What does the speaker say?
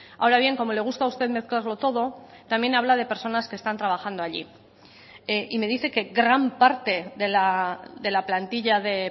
ahora bien como le gusta a usted mezclarlo todo también habla de personas que están trabajando allí y me dice que gran parte de la plantilla de